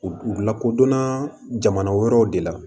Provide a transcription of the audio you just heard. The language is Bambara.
U lakodɔnna jamana wɛrɛw de la